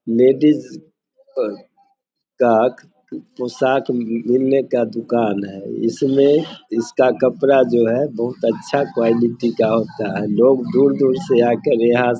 ladies अ पोशाक मि मिलने का दुकान है इसमें इसका कपड़ा जो है बहुत अच्छा क़्वालिटी का होता है लोग दूर-दूर से आकर यहाँ --